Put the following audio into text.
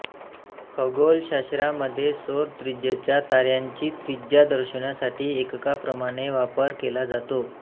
खगोलशास्त्रामध्ये सौर त्रिज्येचा ताऱ्यांची त्रिज्या दर्शवण्यासाठी एककाप्रमाणे वापर केला जातो